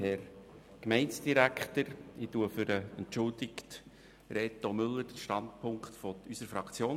Ich spreche für den entschuldigten Reto Müller und vertrete den Standpunkt unserer Fraktion.